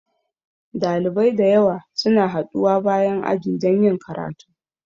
Dalibai da yawa suna haɗuwa bayan aji don yin karatu.